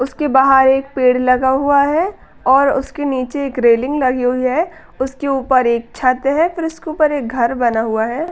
उसके बाहर एक पेड़ लगा हुआ है और उसके नीचे एक रेलिंग लगी हुई है। उसके ऊपर एक छत है फिर उसके ऊपर एक घर बना हुआ है।